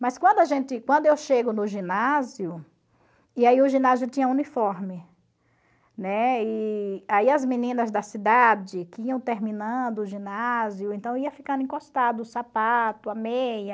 Mas quando a gente quando eu chego no ginásio, e aí o ginásio tinha uniforme, né, e aí as meninas da cidade que iam terminando o ginásio, então ia ficando encostado, o sapato, a meia,